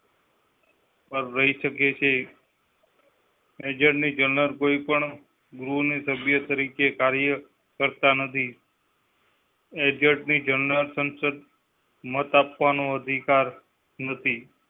પર રહી શકે છે. attorney general કોઈ પણ ગૃહ ના સભ્ય તરીકે કાર્ય કરતા નથી. attorney ની general સંસદીય મત આપવા નો અધિકાર નથી